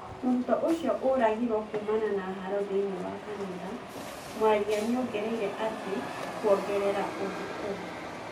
Mũrutũo ũcio ũragiruo kuumana na haro thĩĩnĩ wa kanitha mwaria nĩongereire atĩ kuogerera ũndũ ũngĩ